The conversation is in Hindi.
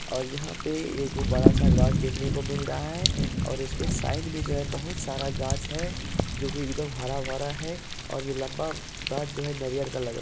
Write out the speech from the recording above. और यहाँ पे एगो बड़ा-सा गाछ देखने को मिल रहा है और इसके साइड में जो है बहुत सारा गाछ है जो एक दम हरा -भरा है और ये लम्बा गाछ जो है नारियल का लग रहा है।